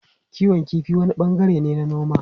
Kiwon kifi wani bangare ne na noma.